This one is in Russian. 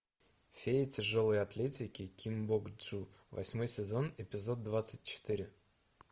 фея тяжелой атлетики ким бок чу восьмой сезон эпизод двадцать четыре